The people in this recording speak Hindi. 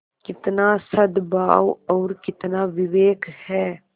कितना सदभाव और कितना विवेक है